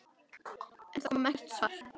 En það kom ekkert svar.